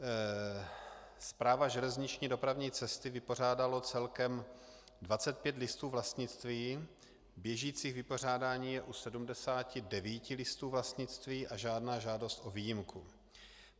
Správa železniční dopravní cesty vypořádala celkem 25 listů vlastnictví, běžících vypořádání je u 79 listů vlastnictví a žádná žádost o výjimku.